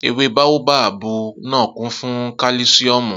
Ewé báóbábù náà kún fún kálísíọ̀mù